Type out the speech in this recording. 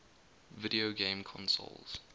video game consoles